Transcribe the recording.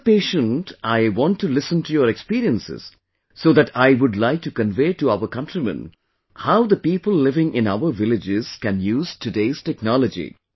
As a patient, I want to listen to your experiences, so that I would like to convey to our countrymen how the people living in our villages can use today's technology